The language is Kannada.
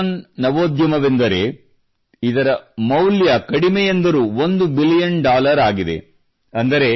ಯೂನಿಕಾರ್ನ್ ನವೋದ್ಯಮವೆಂದರೆ ಇದರ ಮೌಲ್ಯ ಕಡಿಮೆಯೆಂದರೂ ಒಂದು ಬಿಲಿಯುನ್ ಡಾಲರ್ ಆಗಿದೆ